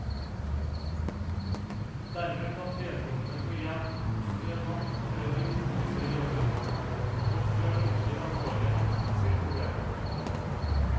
Dermed kan vedkommende få hjelp før han, eller hun, mister jobben og før det oppstår alvorlige helsemessige problemer.